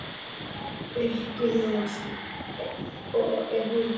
Breki Logason: Og er hún sátt?